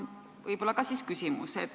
Võib-olla selline küsimus.